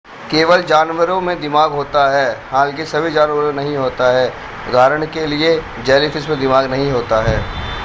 केवल जानवरों में दिमाग होता है हालाँकि सभी जानवरों में नहीं होता है; उदाहरण के लिए जेलीफ़िश में दिमाग नहीं होता है।